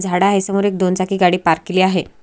झाड आहे समोर एक दोन चाकी गाडी पार्क केली आहे.